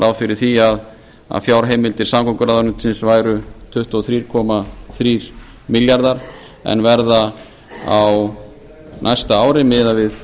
ráð fyrir því að fjárheimildir samgönguráðuneytisins væru tuttugu og þrjú komma þrír milljarðar en verða á næsta ári miðað við